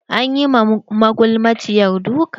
Anyi ma magulmaciyar duka.